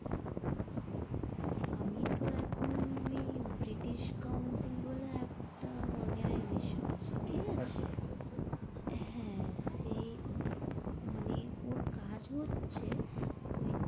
আমি তো এখন ওই ব্রিটিশ কাউন্সিল বলে একটা organization আছে, ঠিক আছে। আচ্ছা আচ্ছা আচ্ছা, হ্যাঁ সেই আহ মানে ওর কাজ হচেছ ওই,